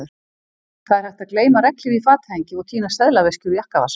Það er hægt að gleyma regnhlíf í fatahengi og týna seðlaveski úr jakkavasa